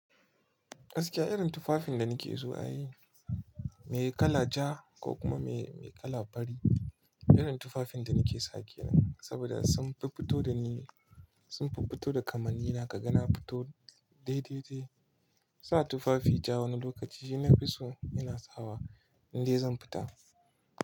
Gaskiya irin tufafin da nike so ai, me kala ja ko kuma me kala fari. Irin tufafin da nike sake nan, saboda sun fi fito da ni, sun fi fito da kamanni na, ka ga na fito dai dai dai. Sa tufafi ja wani lokaci shi na fi so ina sawa indai zan fita.